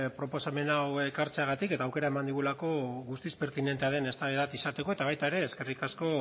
proposamen hau ekartzeagatik eta aukera eman digulako guztiz pertinentea den eztabaida bat izateko eta baita ere eskerrik asko